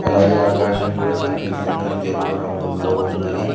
అలాగే ఆకాశం కూడా కనిపిస్తుంది. అది తెలుపు రంగుల్లో ఉన్నది.